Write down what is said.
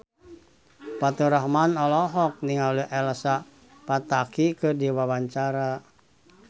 Faturrahman olohok ningali Elsa Pataky keur diwawancara